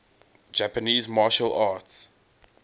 japanese martial arts